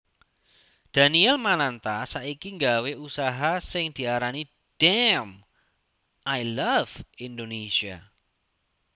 Daniel Mananta saiki nggawe usaha sing diarani Damn I Love Indonesia